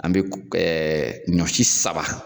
An be ko ɛɛ ɲɔ si saba